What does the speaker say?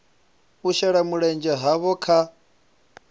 u shela mulenzhe havho kha